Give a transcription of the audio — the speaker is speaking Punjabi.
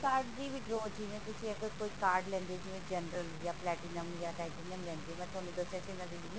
card ਦੀ withdraw ਜਿਵੇਂ ਤੁਸੀਂ ਅਗਰ ਕੋਈ card ਲੈਂਦੇ ਹੋ ਜਿਵੇਂ general ਜਾ platinum ਜਾ titanium ਲੈਂਦੇ ਹੋ ਮੈਂ ਤੁਹਾਨੂੰ ਦੱਸਿਆ ਸੀ ਮੈਂ